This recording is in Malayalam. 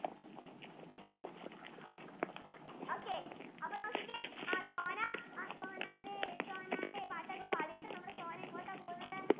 okay അപ്പൊ നോക്കിക്കേ ആ സോനാ സോനേരെ സോനേരെ പാട്ടൊക്കെ പാടിട്ടു നമ്മുടെ സോന എങ്ങോട്ടാ പോകുന്നത്